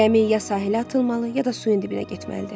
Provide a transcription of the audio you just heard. Gəmi ya sahilə atılmalı, ya da suyun dibinə getməlidir.